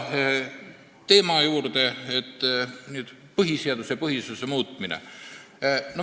Nüüd põhiseaduse ja põhiseaduse muutmise teema.